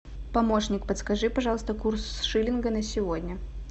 помощник подскажи пожалуйста курс шиллинга на сегодня